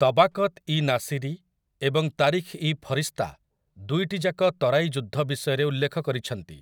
ତବାକତ୍ ଇ ନାସିରୀ ଏବଂ ତାରିଖ୍ ଇ ଫରିଶ୍ତା ଦୁଇଟିଯାକ ତରାଇ ଯୁଦ୍ଧ ବିଷୟରେ ଉଲ୍ଲେଖ କରିଛନ୍ତି ।